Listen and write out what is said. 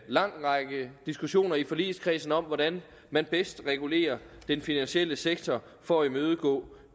lang række diskussioner i forligskredsen om hvordan man bedst regulerer den finansielle sektor for at imødegå